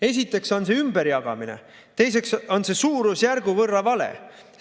Esiteks on see ümberjagamine, teiseks on see suurusjärgu võrra vale.